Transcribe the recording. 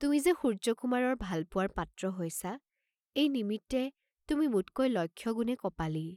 তুমি যে সূৰ্য্যকুমাৰৰ ভালপোৱাৰ পাত্ৰ হৈছা, এই নিমিত্তে তুমি মোতকৈ লক্ষ গুণে কপালী।